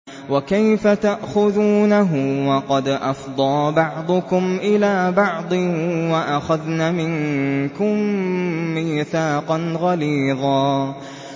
وَكَيْفَ تَأْخُذُونَهُ وَقَدْ أَفْضَىٰ بَعْضُكُمْ إِلَىٰ بَعْضٍ وَأَخَذْنَ مِنكُم مِّيثَاقًا غَلِيظًا